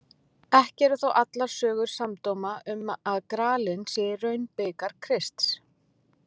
Ekki eru þó allar sögur samdóma um að gralinn sé í raun bikar Krists.